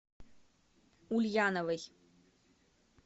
ульяновой